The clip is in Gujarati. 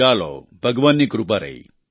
ચાલો ભગવાનની કૃપા રહી